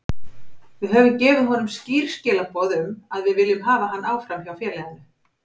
Við höfum gefið honum skýr skilaboð um að við viljum hafa hann áfram hjá félaginu.